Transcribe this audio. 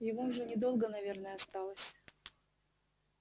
ему уже недолго наверное осталось